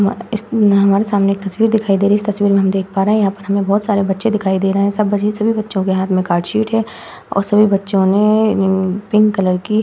इस हमारे सामने एक तस्वीर दिखाई दे रही है इस तस्वीर में हम देख पा रहे हैं यहां पर हमें बहोत सारे बच्चे दिखाई दे रहे हैं। सब बच्चे सब बच्चों के हाथ में कार्ड शीट है और सभी बच्चियों ने पिंक कलर की --